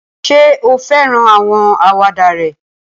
Ṣé o fẹ́ràn àwọn àwàdà rẹ̀?